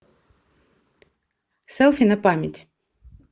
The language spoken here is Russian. селфи на память